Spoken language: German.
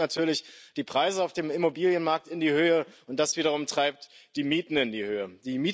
Das treibt natürlich die Preise auf dem Immobilienmarkt in die Höhe, und das wiederum treibt die Mieten in die Höhe.